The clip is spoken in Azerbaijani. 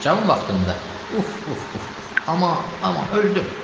Cavan vaxtımda, uf, uf, uf, uf, aman, aman, öldüm!